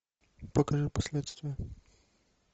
покажи последствия